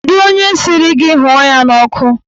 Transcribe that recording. Kedụ onye sịrị gị hụọ ya n'ọkụ?